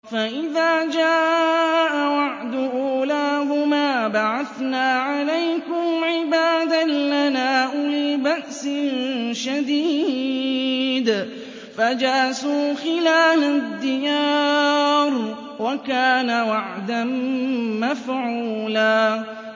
فَإِذَا جَاءَ وَعْدُ أُولَاهُمَا بَعَثْنَا عَلَيْكُمْ عِبَادًا لَّنَا أُولِي بَأْسٍ شَدِيدٍ فَجَاسُوا خِلَالَ الدِّيَارِ ۚ وَكَانَ وَعْدًا مَّفْعُولًا